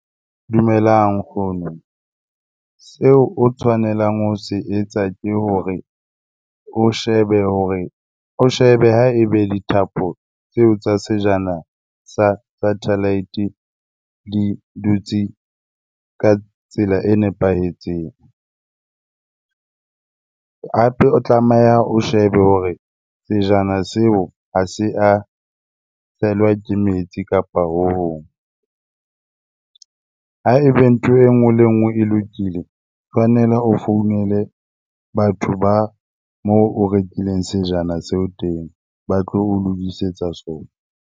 Dumelang nkgono. Seo o tshwanelang ho se etsa ke hore o shebe hore, o shebe ha ebe dithapo tseo tsa sejana sa satellite di dutse ka tsela e nepahetseng. Hape o tlameha o shebe hore sejana seo ha se a hlahelwa tshelwa ke metsi kapa ho hong. Ha ebe ntho e nngwe le e nngwe e lokile, tshwanela o founele batho ba moo o rekileng sejana seo teng ba tlo o lokisetsa sona.